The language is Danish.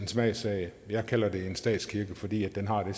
smagssag jeg kalder det en statskirke fordi den har den